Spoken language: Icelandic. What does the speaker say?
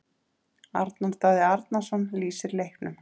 Arnar Daði Arnarsson lýsir leiknum.